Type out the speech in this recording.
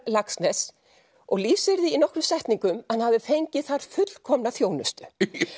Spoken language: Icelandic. Laxness og lýsir því í nokkrum setningum að hann hafi fengið þar fullkomna þjónustu